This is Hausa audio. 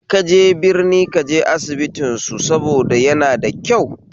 In kaje birni kaje asibitin su saboda yanada kyau